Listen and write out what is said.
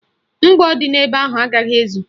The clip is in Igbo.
Mgbọ dị n'ebe ahụ agaghị ezu